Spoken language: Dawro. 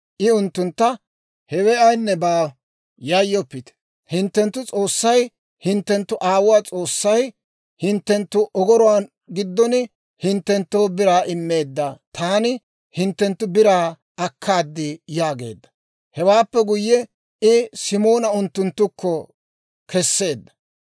I unttuntta, «Hewe ayinne baawa; yayyoppite! hinttenttu S'oossay, hinttenttu aawuwaa S'oossay, hinttenttu ogoruwaa giddon hinttenttoo biraa immeedda; taani hinttenttu biraa akkaad» yaageedda. Hewaappe guyye, I Simoona unttunttukko keseedda.